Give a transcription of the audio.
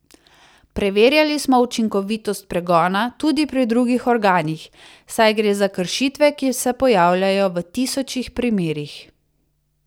Preverjali smo učinkovitost pregona tudi pri drugih organih, saj gre za kršitve, ki se pojavljajo v tisočih primerih.